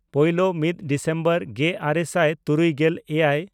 ᱯᱳᱭᱞᱳ/ ᱢᱤᱫ ᱰᱤᱥᱮᱢᱵᱚᱨ ᱜᱮᱼᱟᱨᱮ ᱥᱟᱭ ᱛᱩᱨᱩᱭᱜᱮᱞ ᱮᱭᱟᱭ